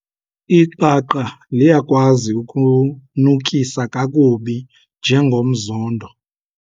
Iqaqa liyakwazi ukunukisa kakubi njengomzondo.